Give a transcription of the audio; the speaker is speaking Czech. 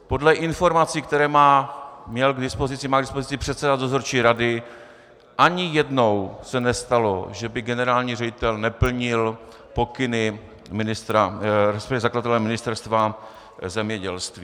Podle informací, které má k dispozici předseda dozorčí rady, ani jednou se nestalo, že by generální ředitel neplnil pokyny zakladatele, Ministerstva zemědělství.